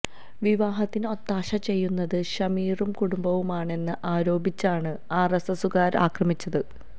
വിവാഹത്തിന് ഒത്താശ ചെയ്യുന്നത് ഷമീറും കുടുംബവുമാണെന്ന് ആരോപിച്ചാണ് ആര്എസ്എസുകാര് ആക്രമിച്ചത്